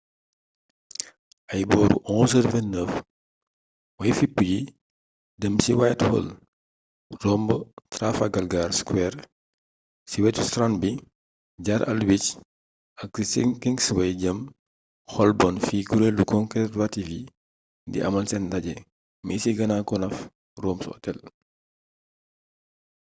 ay booru 11:29 way fippu yi dém ci whitehall romb trafalgar square ci wétu strand bi jaar aldwych ak ci kingsway jëm holborn fi kurelu concervative yi di amal sén ndajé mi ci grand connaught rooms hotel